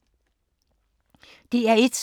DR1